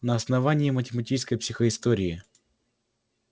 на основании математической психоистории